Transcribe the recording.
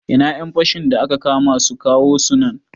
Ina ƴan fashin da aka kama su, kawo su nan